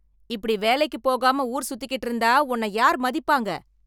இப்படி வேலைக்கு போகாம ஊர் சுத்திகிட்டு இருந்தா உன்னை யார் மதிப்பாங்க